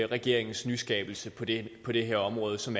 regeringens nyskabelse på det på det her område som